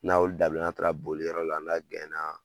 N'a y'olu dabila, na taara boliyɔrɔ la na